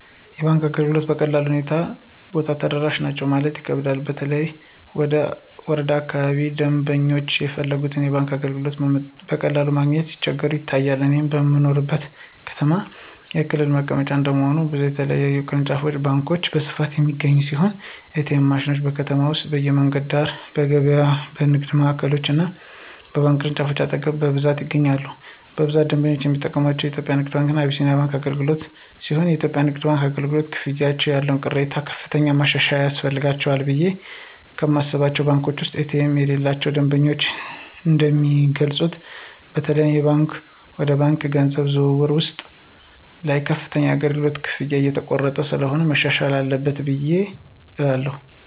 የባንክ አገልግሎቶችን በቀላሉ ሁሉም ቦታ ተደራሽ ናቸው ለማለት ይከብዳል በተለይ ወረዳ አካባቢዎች ደምበኞች የፈለጉትን የባንክ አገልግሎቶች በቀላሉ ለማግኘት ሲቸገሩ ይታያል። እኔ በምኖርበት ከተማ የክልሉ መቀመጫ እንደመሆኑ ብዙ የተለያዩ ቅርንጫፍ ባንኮች በስፋት የሚገኙ ሲሆን ኤ.ቲ.ኤም ማሽኖች: በከተማ ውስጥ በመንገድ ዳር፣ በገበያዎች፣ በንግድ ማዕከሎች እና በባንክ ቅርንጫፎች አጠገብ በብዛት ይገኛሉ። በብዛት ደንበኞች የሚጠቀምባቸው የኢትዮጽያ ንግድ ባንክ እና አቢሲኒያ አገልግሎትሲሆንየኢትዮጵያ ንግድ ባንክ አገልግሎት፨ ክፍያዎች ያለው ቅሬታ ከፍተኛ ማሻሻያ ያስፈልጋቸዋልቑ ብየ ከማስባቸው ባንኮች ውስጥ ኤ.ቲ.ኤም የሌላቸው ደንበኞች እንደሚገልጹት በተለይም የባንክ ወደ ባንክ የገንዘብ ዝውውር ውስጥ ላይ ከፍተኛ የአገልግሎት ክፍያዎች እየተቆረጡ ስለሆነ መሻሻል አለበት እላለሁ።